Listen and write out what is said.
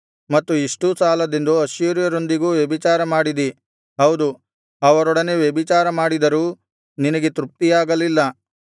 ಮತ್ತು ಇಷ್ಟೂ ಸಾಲದೆಂದು ಅಶ್ಶೂರ್ಯರೊಂದಿಗೂ ವ್ಯಭಿಚಾರಮಾಡಿದಿ ಹೌದು ಅವರೊಡನೆ ವ್ಯಭಿಚಾರಮಾಡಿದರೂ ನಿನಗೆ ತೃಪ್ತಿಯಾಗಲಿಲ್ಲ